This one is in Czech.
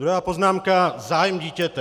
Druhá poznámka - zájem dítěte.